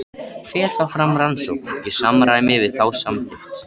Fer þá fram rannsókn í samræmi við þá samþykkt.